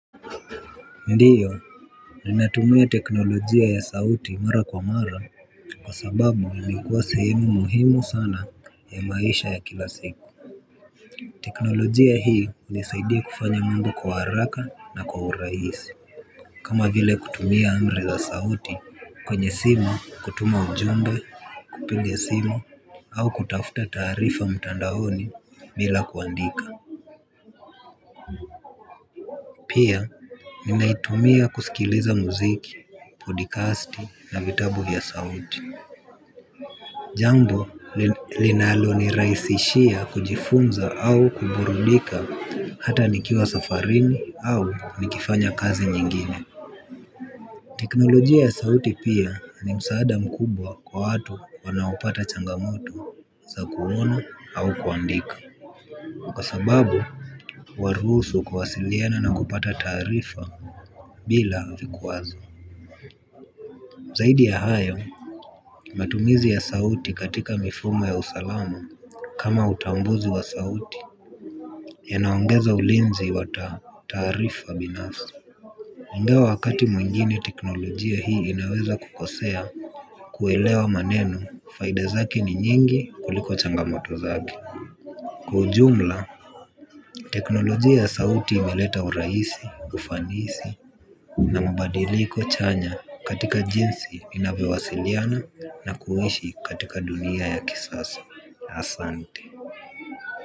Ndiyo, ninatumia teknolojia ya sauti mara kwa mara kwa sababu yanakuwa sehemu muhimu sana ya maisha ya kila siku. Teknolojia hii hunisaidia kufanya mambo kwa haraka na kwa urahisi. Kama vile kutumia amri za sauti kwenye simu kutuma ujumbe kupiga simu au kutafuta taarifa mtandaoni bila kuandika. Pia ninaitumia kusikiliza muziki, podikasti na vitabu ya sauti. Jambo linalo ni rahisishia kujifunza au kuburudika hata nikiwa safarini au nikifanya kazi nyingine. Teknolojia ya sauti pia ni msaada mkubwa kwa watu wanaopata changamoto za kuona au kuandika. Kwa sababu huwaruhusu kuwasiliana na kupata taarifa bila vikwazo. Zaidi ya hayo, matumizi ya sauti katika mifumo ya usalamu kama utambuzi wa sauti yanaongeza ulinzi wa taarifa binafsi. Ingawa wakati mwingine teknolojia hii inaweza kukosea kuelewa maneno faida zake ni nyingi kuliko changamoto zake. Kiujumla, teknolojia ya sauti imeleta urahisi, ufanisi, na mabadiliko chanya katika jinsi inavyowasiliana na kuishi katika dunia ya kisasa, asante.